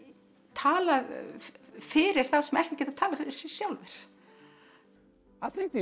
talað fyrir þá sem ekki geta talað fyrir sig sjálfir við